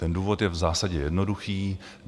Ten důvod je v zásadě jednoduchý.